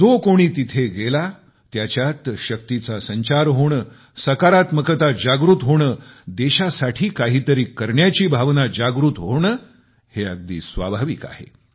जो कोणी तिथे गेला त्याच्यात शक्तीचा संचार होणे सकारात्मकता जागृत होणे देशासाठी काहीतरी करण्याची भावना जागृत होणे हे अगदी स्वाभाविक आहे